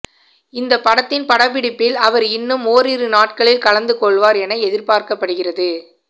இந்த படத்தின் படப்பிடிப்பில் அவர் இன்னும் ஓரிரு நாட்களில் கலந்து கொள்வார் என எதிர்பார்க்கப்படுகிறது